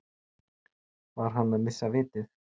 Var hann að missa vitið?